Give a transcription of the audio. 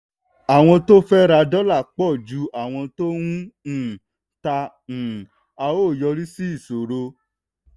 àwọn tó ń fẹ́ ra dọ́là pọ̀ ju àwọn tó ń um tà um á ó yọrí sí ìṣòro.